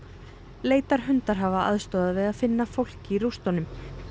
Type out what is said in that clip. leitarhundar hafa aðstoðað við að finna fólk í rústunum